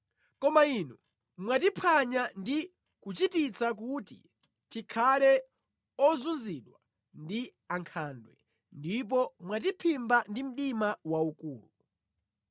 Koma Inu mwatiphwanya ndi kuchititsa kuti tikhale ozunzidwa ndi ankhandwe ndipo mwatiphimba ndi mdima waukulu.